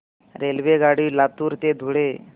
रेल्वेगाडी लातूर ते धुळे